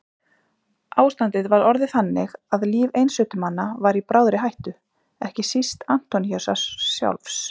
Ástandið var orðið þannig að líf einsetumanna var í bráðri hættu, ekki síst Antóníusar sjálfs.